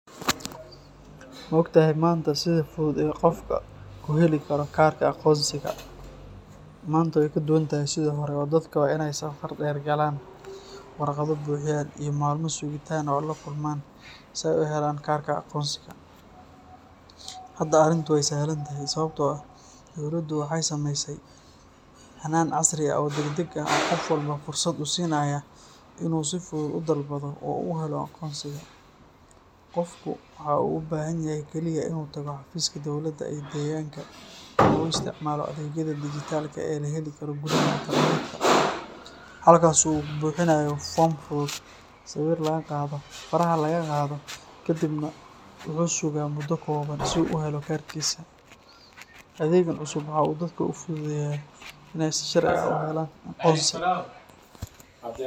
Ma ogtahay maanta sida fudud ee uu qofka ku heli karo kaarka aqoonsiga? Maanta way ka duwan tahay sidii hore oo dadka waa inay safar dheer galaan, warqado buuxiyaan, iyo maalmo sugitaan ah la kulmaan si ay u helaan kaarka aqoonsiga. Hadda arrintu way sahlan tahay, sababtoo ah dowladdu waxay samaysay hannaan casri ah oo degdeg ah oo qof walba fursad u siinaya inuu si fudud u dalbado oo u helo aqoonsigiisa. Qofku waxa uu u baahan yahay keliya inuu tago xafiiska dowladda ee deegaanka ama uu isticmaalo adeegyada dijitaalka ah ee la heli karo gudaha internetka, halkaas oo uu buuxinayo foom fudud, sawir laga qaado, faraha laga qaado, kadibna wuxuu sugaa muddo kooban si uu u helo kaarkiisa. Adeeggan cusub waxa uu dadka u fududeeyay inay si sharci ah u helaan.